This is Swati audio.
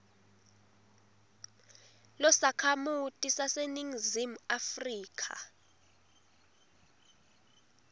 losakhamuti saseningizimu afrika